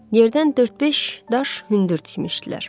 Yerdən dörd-beş daş hündür tikmişdilər.